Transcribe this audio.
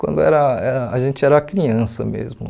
quando era era a gente era criança mesmo.